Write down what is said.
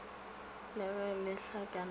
le ge le hlakana ka